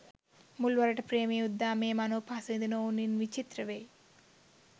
මුල්වරට ප්‍රේමයේ උද්දාමයේ මනෝ පහස විදින ඔවුන් ඉන් විචිත්‍ර වෙයි.